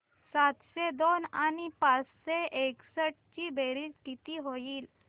सातशे दोन आणि पाचशे एकसष्ट ची बेरीज किती होईल